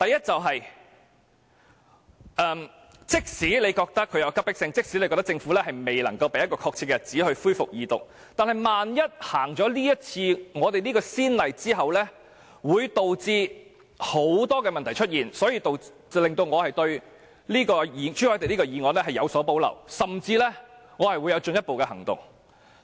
即使你覺得《條例草案》有急迫性，即使你覺得政府未能夠說出恢復二讀的確實日子，但萬一開此先例，會導致很多問題出現，這令我對朱凱廸議員的議案有所保留，甚至我會採取進一步行動。